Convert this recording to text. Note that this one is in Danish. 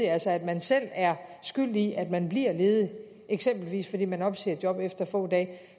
altså at man selv er skyld i at man bliver ledig eksempelvis fordi man opsiger et job efter få dage